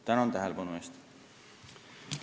Tänan tähelepanu eest!